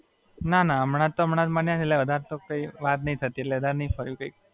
ના, ના. હમણાં તો વધારે કઈ વાત નથી થતી એટલે વધારે નહીં ફર્યું કઈ.